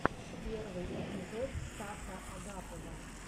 первый эпизод стаса агапова